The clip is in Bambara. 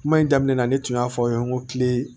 Kuma in daminɛ na ne tun y'a fɔ aw ye n ko kile